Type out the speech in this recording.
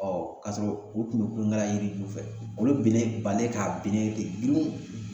kasɔrɔ u tun bɛ kulonkɛ la yiri ju fɛ olu binnen bali k'a binnen ten dun